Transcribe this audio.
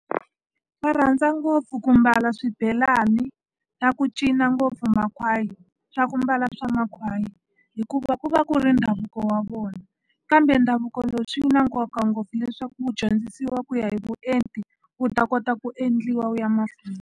Va rhandza ngopfu ku mbala swibelani na ku cina ngopfu makhwayi swa ku mbala swa makhwaya hikuva ku va ku ri ndhavuko wa vona kambe ndhavuko lowu swi na nkoka ngopfu leswaku wu dyondzisiwa ku ya hi vuenti wu ta kota ku endliwa wu ya mahlweni.